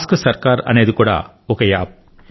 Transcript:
ask Sarkar అనేది కూడా ఒక యాప్